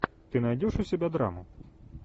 ты найдешь у себя драму